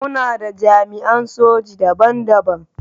Muna da jami’an soji daban-daban.